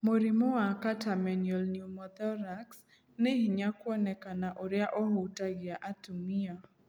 Mũrimũ wa catamenial pneumothorax nĩ hinya kũonekana ũria ũhutagia atumia.